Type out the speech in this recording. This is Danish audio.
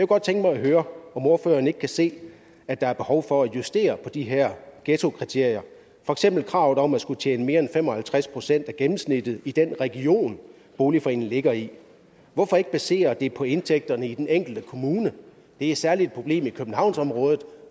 godt tænke mig at høre om ordføreren ikke kan se at der er behov for at justere på de her ghettokriterier for eksempel kravet om at skulle tjene mere end fem og halvtreds procent af gennemsnittet i den region boligforeningen ligger i hvorfor ikke basere det på indtægterne i den enkelte kommune det er særlig et problem i københavnsområdet